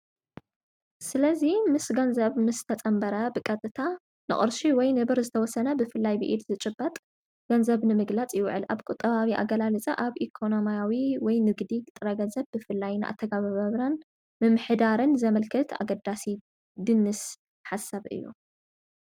ስለዙይ ምስ ገንዘብ ምስ ተፀምበረ ብቀጥታ ንቑርሺ ወይ ንብር ዝተወሠነ ብፍላይ ብኢድ ዝጭበጥ ገንዘብ ንምግላፅ ይውዕል፡፡ ኣብ ቊጥባዊ ኣገላሊፃ ኣብ ኢኮኖማያዊ ወይ ንግዲ ጥረ ገንዘብ ብፍላይን ኣተገብባብራን ምምሕዳርን ዘመልክት ኣገዳሲ ድንስ ሓሳብ እዩ፡፡